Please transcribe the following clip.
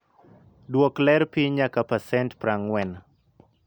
Duoko ler piny nyaka pasent 40.